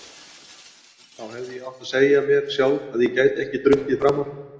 Þá hefði ég átt að segja mér sjálf að ég gæti ekki drukkið framar.